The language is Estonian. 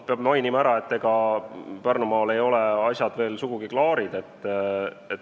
Peab mainima, et ega Pärnumaal ei ole asjad veel sugugi klaarid.